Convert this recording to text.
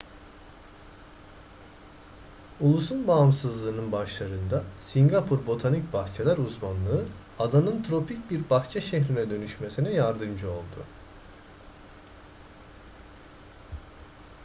ulusun bağımsızlığının başlarında singapur botanik bahçeler uzmanlığı adanın tropik bir bahçe şehrine dönüşmesine yardımcı oldu